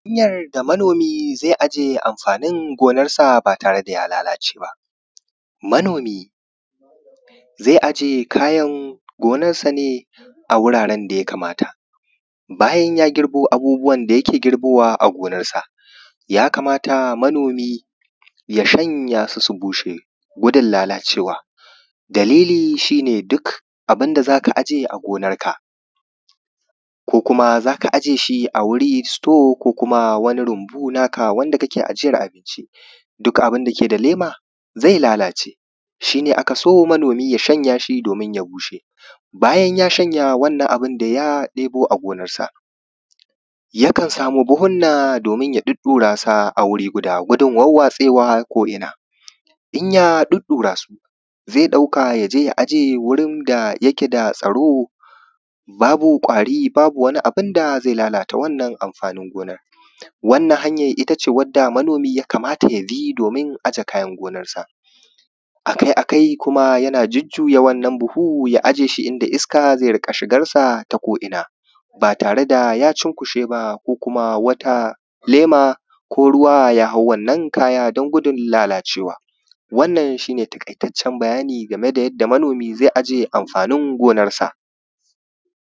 Hanyar da manomi zai ajiye amfaanin gonansa baa tare da ya lalace baa. Manomi zai ajiye kayan gonarsa ne a wuraren da ya kamata, bayan ya girbo abubuwan da yake girbowa a gonarsa ya kamata manomi ya shanyasu su bushe gudun lalacewa, dalili shi ne duk abin da za ka aje a gonarka ko kuma za ka aje shi a wuri store ko kuma wani rumbu naa ka wanda kake ajiyar abicin, duk abin dake da leema zai lalace shi ne aka so manomi ya shanya su su bushe. Bayan ya shanya wannan abu da ya ɗebo a gonarsa, yakan samu buhunna doomin ya ɗuɗɗurasu sa a wuri guda gudun warwatsewa ko ina. Inya ɗuɗɗurasu zai ɗauka ya je ya aje wurin da yake da tsaro babu kwari babu wani abun da zai lalata wannan amfaanin gonan. Wannan hanja ita ce wadda manomi ya kamata ya bi doomin ya aje kayan gonarsa, akai-akai kuma yana jujuya wannan buhu ya ajiye shi inda iska zai riƙa shigarsa ta ko’ina baa tare da ya cunkushe ba ko kuma wata lema ko kuma ruwa ya hau wannan kaya don gudun lalacewa wannan shi ne taƙaitaccen bayani game da yadda manomi zai aje amfaanin gonarsa.